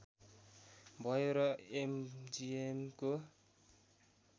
भयो र एमजिएमको